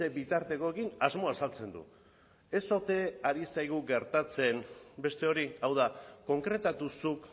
bitartekoekin asmoa azaltzen du ez ote ari zaigu gertatzen beste hori hau da konkretatu zuk